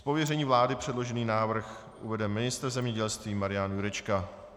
Z pověření vlády předložený návrh uvede ministr zemědělství Marian Jurečka.